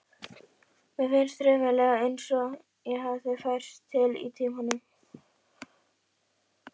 Mér finnst raunverulega einsog ég hafi færst til í tímanum.